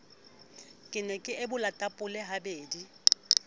ke no ebola tapole habedi